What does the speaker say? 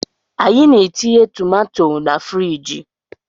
Anyị na-etinye tomato na friji